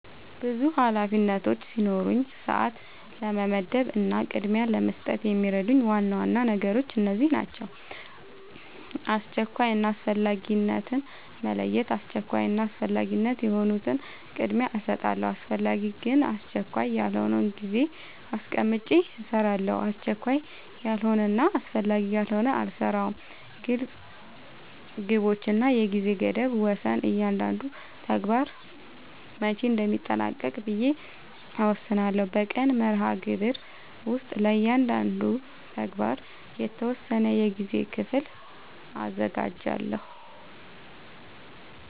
ብዙ ኃላፊነቶች ሲኖሩኝ ሰዓት ለመመደብ እና ቅድሚያ ለመስጠት የሚረዱኝ ዋና ዋና ነገሮች እነዚህ ናቸው :-# አስቸኳይ እና አስፈላጊነትን መለየት:- አስቸኳይ እና አስፈላጊ የሆኑትን ቅድሚያ እሰጣለሁ አስፈላጊ ግን አስቸካይ ያልሆነውን ጊዜ አስቀምጨ እሰራለሁ አስቸካይ ያልሆነና አስፈላጊ ያልሆነ አልሰራውም # ግልፅ ግቦች እና የጊዜ ገደብ መወሰን እያንዳንዱን ተግባር መቼ እንደሚጠናቀቅ ብዬ እወስናለሁ በቀን መርሃግብር ውስጥ ለእያንዳንዱ ተግባር የተወሰነ የጊዜ ክፍል አዘጋጃለሁ